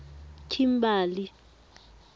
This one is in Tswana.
kimberley